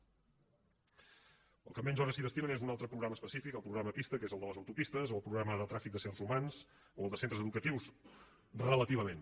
al qual menys hores s’hi destinen és un altre programa específic el programa pista que és el de les autopistes o el programa de tràfic d’éssers humans o el de centres educatius relativament